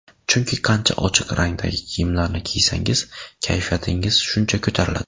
Chunki qancha ochiq rangdagi kiyimlarni kiysangiz, kayfiyatingiz shuncha ko‘tariladi.